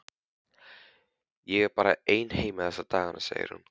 Ég er bara ein heima þessa dagana, segir hún.